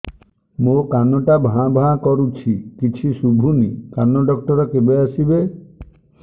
ମୋ କାନ ଟା ଭାଁ ଭାଁ କରୁଛି କିଛି ଶୁଭୁନି କାନ ଡକ୍ଟର କେବେ ଆସିବେ